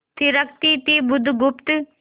थिरकती थी बुधगुप्त